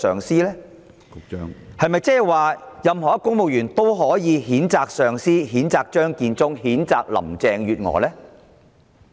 是否所有公務員都可以譴責上司、譴責張建宗、譴責林鄭月娥？